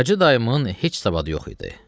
Hacı dayımın heç savadı yox idi.